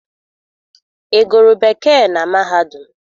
Ị gụrụ Bekee na mahadum?